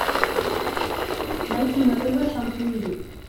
найти на тв шант мьюзик